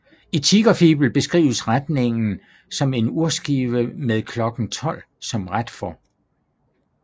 I Tigerfibel beskrives retningen som en urskive med klokken 12 som ret for